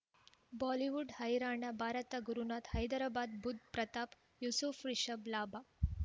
Bollywood ಹೈರಾಣ ಭಾರತ ಗುರುನಾಥ ಹೈದರಾಬಾದ್ ಬುಧ್ ಪ್ರತಾಪ್ ಯೂಸುಫ್ ರಿಷಬ್ ಲಾಭ